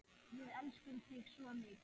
Við elskum þig svo mikið.